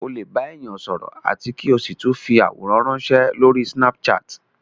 Ó lè bá èèyàn sọ̀rọ̀ àti kí o sì tún fi àwòrán ránsẹ́ lórí snapchat